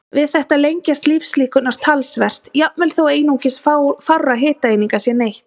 Við þetta lengjast lífslíkurnar talsvert, jafnvel þó einungis fárra hitaeininga sé neytt.